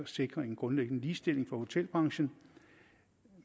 sikre en grundlæggende ligestilling for hotelbranchen